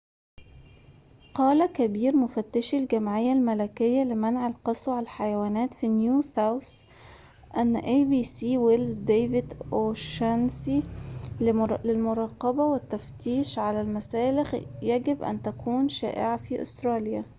قال كبير مفتشي الجمعية الملكية لمنع القسوة على الحيوانات في نيو ساوث ويلز ديفيد أوشانيسي لـabc أن المراقبة والتفتيش على المسالخ يجب أن تكون شائعة في أستراليا